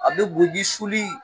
A bɛ bobi suli.